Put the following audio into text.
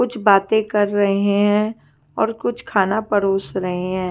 कुछ बाते कर रहे है और कुछ खाना परोस रहे है।